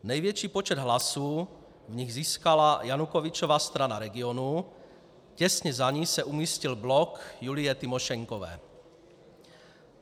Největší počet hlasů v nich získala Janukovyčova Strana regionů, těsně za ní se umístil Blok Julije Tymošenkové.